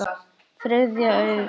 Þriðja augað.